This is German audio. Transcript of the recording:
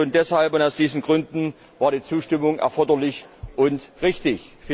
Und schon deshalb und aus diesen Gründen war die Zustimmung erforderlich und richtig.